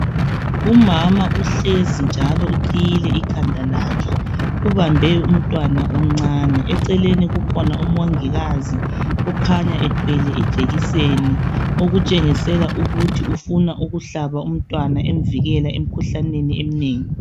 Umama uhlezi njalo uqhiyile ikhanda lakhe, ubambe umntwana omncane. Eceleni kukhona umongikazi okhanya ethwele ijekiseni, okutshengisela ukuthi ufuna ukuhlaba umntwana emvikela emikhuhlaneni eminengi.